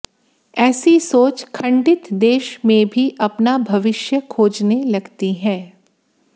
ऐसी सोच खंडित देश में भी अपना भविष्य खोजने लगती है